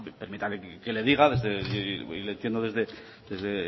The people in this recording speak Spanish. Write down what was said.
permítame que le diga y le entiendo